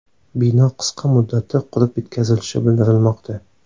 Bino qisqa muddatda qurib bitkazilishi bildirilmoqda.